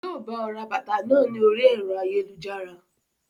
Yii o bọ̀ ra bàtà náà ni orí ẹ̀rọ ayélujára.